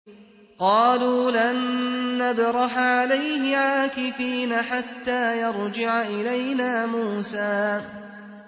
قَالُوا لَن نَّبْرَحَ عَلَيْهِ عَاكِفِينَ حَتَّىٰ يَرْجِعَ إِلَيْنَا مُوسَىٰ